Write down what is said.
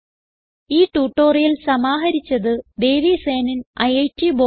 ഈ ട്യൂട്ടോറിയൽ സമാഹരിച്ചത് ദേവി സേനൻ ഐറ്റ് ബോംബേ